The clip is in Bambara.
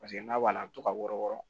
Paseke n'a b'a la a bɛ to ka wɔrɔ wɔɔrɔn